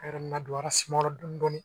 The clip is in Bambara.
A yɔrɔ nadon a suma dɔɔnin